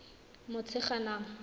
motshegang